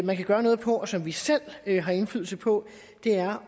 man kan gøre noget på og som vi selv har indflydelse på er